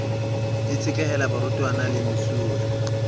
e tshetlehela barutwana le mesuwe